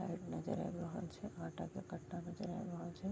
Light नजर आ रहल छै आटा के काट्टा नजर आ रहल छै।